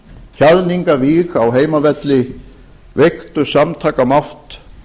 hjaðningavíg á heimavelli veiktu samtakamátt